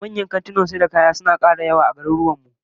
Manyan kantunan sayar da kaya suna kara yawa a garuruwan mu